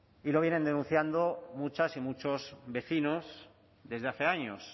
y lo vienen denunciando muchas y muchos vecinos desde hace años